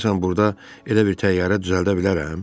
Görəsən burda elə bir təyyarə düzəldə bilərəm?